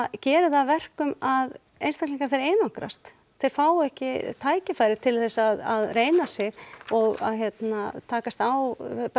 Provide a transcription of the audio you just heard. gerir það að verkum að einstaklingar þeir einangrast þeir fá ekki tækifæri til þess að reyna sig og að hérna takast á